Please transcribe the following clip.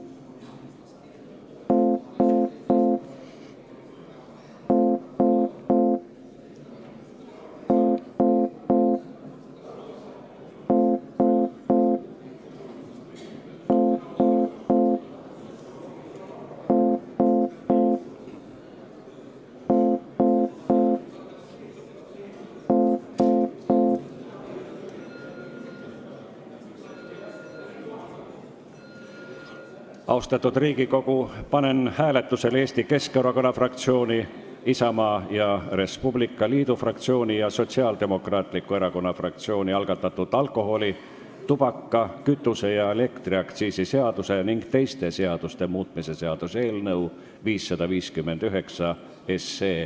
Austatud Riigikogu, panen hääletusele Eesti Keskerakonna fraktsiooni, Isamaa ja Res Publica Liidu fraktsiooni ning Sotsiaaldemokraatliku Erakonna fraktsiooni algatatud alkoholi-, tubaka-, kütuse- ja elektriaktsiisi seaduse ning teiste seaduste muutmise seaduse eelnõu 559.